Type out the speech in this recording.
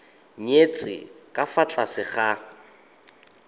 nyetswe ka fa tlase ga